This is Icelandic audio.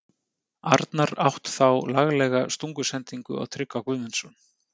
Arnar átt þá laglega stungusendingu á Tryggva Guðmundsson.